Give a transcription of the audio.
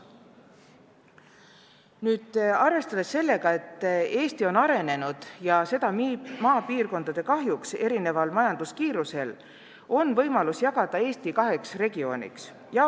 Kuna Eesti majandus on arenenud, ja seda maapiirkondade arvel, erineva kiirusega, peaks olema võimalus jagada Eesti kaheks regiooniks.